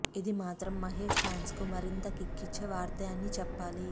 ఇది మాత్రం మహేష్ ఫ్యాన్స్ కు మరింత కిక్కిచ్చే వార్తే అని చెప్పాలి